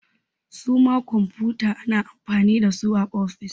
Su ma kwamfuta ana amfani da su a ofis